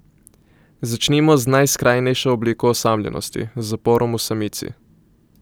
Začnimo z najskrajnejšo obliko osamljenosti, z zaporom v samici.